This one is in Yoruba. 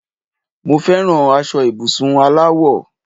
Mo feran aṣọ ibùsùn aláwọ̀